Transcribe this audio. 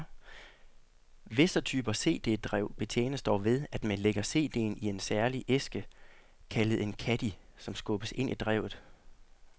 Visse typer CD drev betjenes dog ved, at man lægger CDen i en særlig æske, kaldet en caddie, som så skubbes ind i drevet.